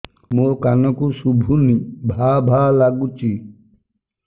ମୋ କାନକୁ ଶୁଭୁନି ଭା ଭା ଲାଗୁଚି